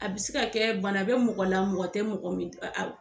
A bi se ka kɛ bana be mɔgɔ la mɔgɔ te mɔgɔ min ɛ a b